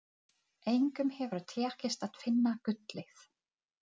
Þessi orðræða er orðin þreytt!